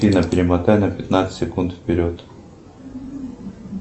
афина перемотай на пятнадцать секунд вперед